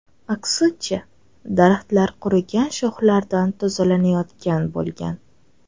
Aksincha, daraxtlar qurigan shoxlardan tozalanayotgan bo‘lgan.